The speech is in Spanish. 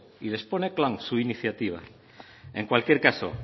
y les pone su iniciativa en cualquier caso